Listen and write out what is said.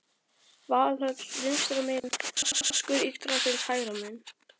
Valhöll vinstra megin, askur Yggdrasils hægra megin.